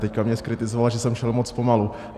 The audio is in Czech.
Teď mě zkritizoval, že jsem šel moc pomalu.